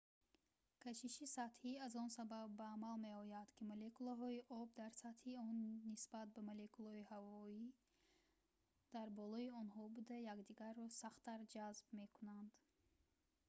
кашиши сатҳӣ аз он сабаб ба амал меояд ки молекулаҳои об дар сатҳи он нисбат ба молекулаҳои ҳавои дар болои онҳо буда якдигарро сахттар ҷазб мекунанд